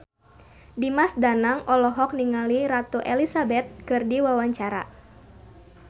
Dimas Danang olohok ningali Ratu Elizabeth keur diwawancara